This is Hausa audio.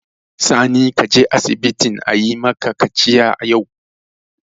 Sani, ka je asibiti ayi maka kaciya yau!